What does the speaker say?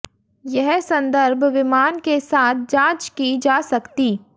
यह संदर्भ विमान के साथ जाँच की जा सकती